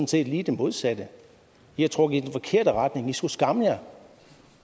set lige det modsatte i har trukket i den forkerte retning i skulle skamme jer